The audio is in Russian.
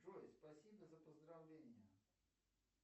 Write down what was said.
джой спасибо за поздравления